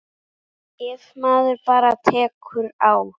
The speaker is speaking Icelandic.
Ef maður bara tekur á.